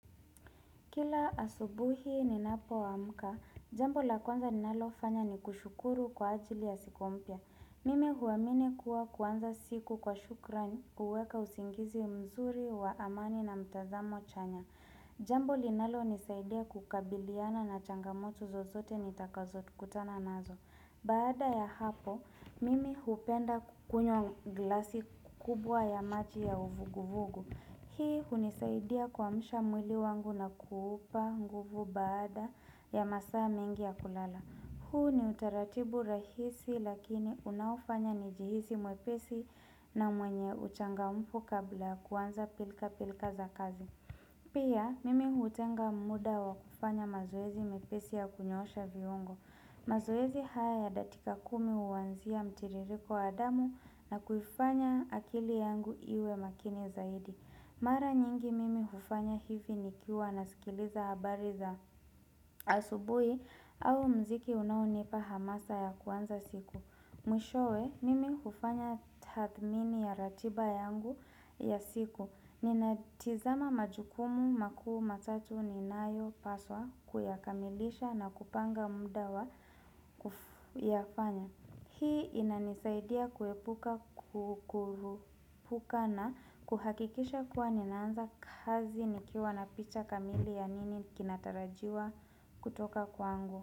Kila asubuhi ninapo amka, jambo la kwanza ninalo fanya ni kushukuru kwa ajili ya siku mpya. Mimi huamini kuwa kuanza siku kwa shukran uweka usingizi mzuri wa amani na mtazamo chanya. Jambo linalo nisaidia kukabiliana na changamoto zozote nitakazo kutana nazo. Baada ya hapo, mimi hupenda kukunywa glasi kubwa ya maji ya uvuguvugu. Hii hunisaidia kuamsha mwili wangu na kuupa nguvu baada ya masaa mingi ya kulala. Huu ni utaratibu rahisi lakini unaofanya nijihisi mwepesi na mwenye uchangamfu kabla kuanza pilka pilka za kazi. Pia mimi hutenga muda wa kufanya mazoezi mepesi ya kunyoosha viungo. Mazoezi haya dakika kumi huwanzia mtiririko wa damu na kufanya akili yangu iwe makini zaidi. Mara nyingi mimi hufanya hivi nikiwa na sikiliza habari za asubuhi au mziki unaonipa hamasa ya kuanza siku. Mwishowe, mimi hufanya tathmini ya ratiba yangu ya siku. Nina tizama majukumu makuu matatu ni nayo paswa kuyakamilisha na kupanga muda wa kufu yafanya. Hii inanisaidia kuepuka na kuhakikisha kuwa ninaanza kazi nikiwa na picha kamili ya nini kinatarajiwa kutoka kwangu.